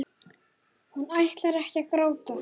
Hún ætlar ekki að gráta.